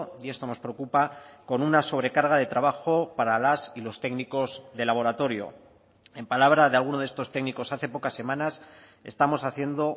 y esto nos preocupa con una sobrecarga de trabajo para las y los técnicos de laboratorio en palabra de alguno de estos técnicos hace pocas semanas estamos haciendo